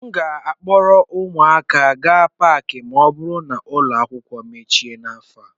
M ga-akpọrọ ụmụaka gaa Paakị ma ọ bụrụ na ụlọ akwụkwọ emechi n'afọ a